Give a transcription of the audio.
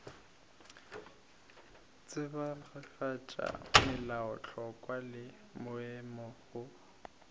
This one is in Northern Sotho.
tsebagatša melaotlhakwa le maemo go